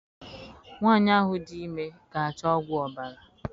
Nwanyị ahụ dị ime ga achọ ọgwụ ọbara